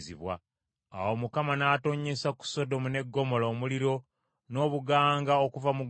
Awo Mukama n’atonnyesa ku Sodomu ne Ggomola omuliro n’obuganga okuva mu ggulu;